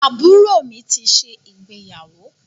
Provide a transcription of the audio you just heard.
Àbúrò mi ti ṣe ìgbéyàwó